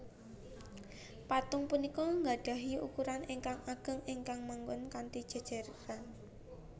Patung punika nggadhahi ukuran ingkang ageng ingkang manggon kanthi jéjéran